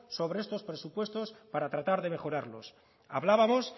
sobre estos presupuestos para tratar de mejorarlos hablábamos